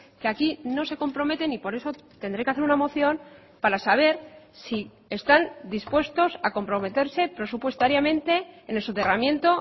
que aquí no se comprometen y por eso tendré que hacer una moción para saber si están dispuestos a comprometerse presupuestariamente en el soterramiento